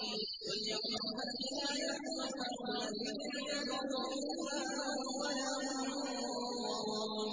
قُلْ يَوْمَ الْفَتْحِ لَا يَنفَعُ الَّذِينَ كَفَرُوا إِيمَانُهُمْ وَلَا هُمْ يُنظَرُونَ